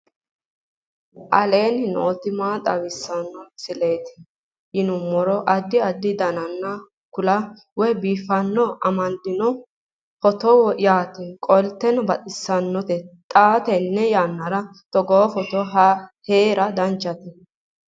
aleenni nooti maa xawisanno misileeti yinummoro addi addi dananna kuula woy biinfille amaddino footooti yaate qoltenno baxissannote xa tenne yannanni togoo footo haara danchate